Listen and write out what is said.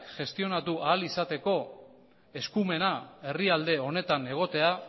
gestionatu ahal izateko eskumena herrialde honetan egotea